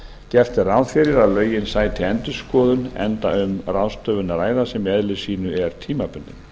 gert er ráð fyrir að lögin sæti endurskoðun enda um ráðstöfun að ræða sem í eðli sínu er tímabundin